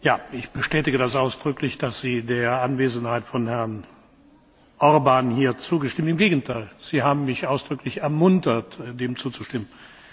Ja, ich bestätige das ausdrücklich, dass Sie der Anwesenheit von Herrn Orbán hier zugestimmt haben. Im Gegenteil, Sie haben mich ausdrücklich ermuntert, dem zuzustimmen.